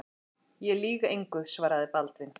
Ég lýg engu, svaraði Baldvin.